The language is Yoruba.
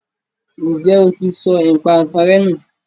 ǹjẹ́ o ti sọ ipànǹkanrẹ́ nù?